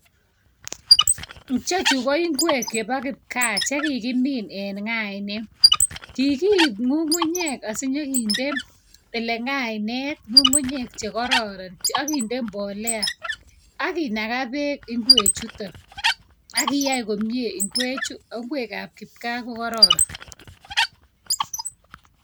Ichechu ko ingwek chebo kipkaa che kigimin en ngainet. Kikiip ngungunyek asinyekinde ole ngainet kungungunyek che kororon, akinde mbolea ak kinaga beek ingwechuton. Ak kiyai komie ingwechu, ago ingwekab kipkaa ko gororon.